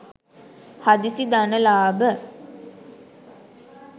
හදිසි ධන ලාභ